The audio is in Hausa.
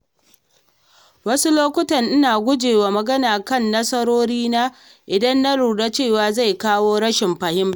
Wasu lokuta ina guje wa magana kan nasarorina idan na lura cewa zai kawo rashin fahimta.